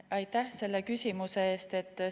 Aitäh selle küsimuse eest!